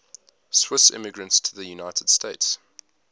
swiss immigrants to the united states